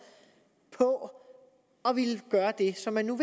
på at ville gøre det som man nu